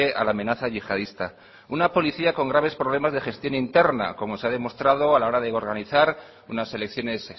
a la amenaza yihadista una policía con graves problemas de gestión interna como se ha demostrado a la hora de organizar unas elecciones